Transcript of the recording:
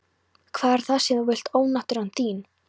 Hvað er það sem þú vilt ónáttúran þín?